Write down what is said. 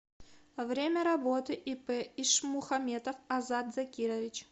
время работы ип ишмухаметов азат закирович